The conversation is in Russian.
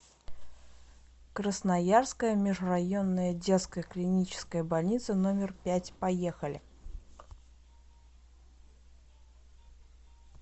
красноярская межрайонная детская клиническая больница номер пять поехали